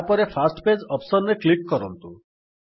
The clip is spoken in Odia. ତାପରେ ଫର୍ଷ୍ଟ ପେଜ୍ ଅପ୍ସନ୍ ରେ କ୍ଲିକ୍ କରନ୍ତୁ